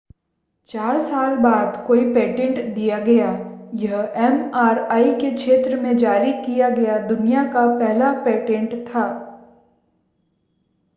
चार साल बाद कोई पेटेंट दिया गया यह एमआरआई के क्षेत्र में जारी किया गया दुनिया का पहला पेटेंट था